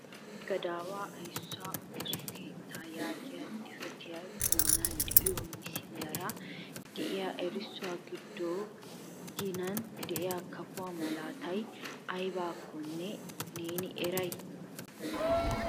Huuphe gadaawa ayssuwa ooso keetta yaagiya xifatee a bollan de'iyo misiliyaara de'iya erissuwa giddon ginan de'iya kafo malatiyaabay aybbakkonne neeni eray?